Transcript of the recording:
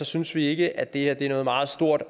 synes vi ikke at det her er noget meget stort